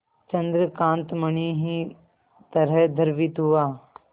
चंद्रकांत मणि ही तरह द्रवित हुआ